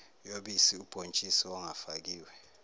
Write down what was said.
yobisi ubhontshisi ongafakiwe